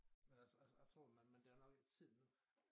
Men altså altså jeg tror men der nok ikke tid nu